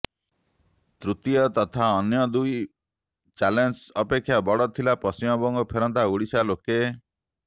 ତୃତୀୟ ତଥା ଅନ୍ୟ ଦୁଇ ଚ୍ୟାଲଞ୍ଜ ଅପେକ୍ଷା ବଡ ଥିଲା ପଶ୍ଚିମବଙ୍ଗ ଫେରନ୍ତା ଓଡିଶାର ଲୋକେ